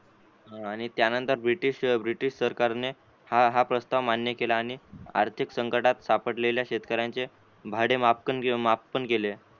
आणि त्यानंतर British British सरकारने हा हा प्ररस्ताव मान्य केला आणि आर्थिक संकटात सापडलेल्या शेतकऱ्यांचे भाडे माफ माफपण केले.